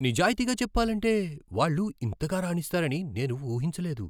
నిజాయితీగా చెప్పాలంటే వాళ్ళు ఇంతగా రాణిస్తారని నేను ఊహించలేదు.